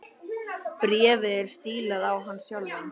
Bréfið var stílað á hann sjálfan.